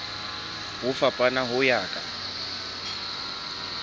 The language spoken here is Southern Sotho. ho fapana ho ya ka